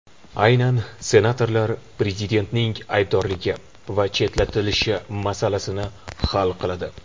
Aynan senatorlar prezidentning aybdorligi va chetlatilishi masalasini hal qiladi.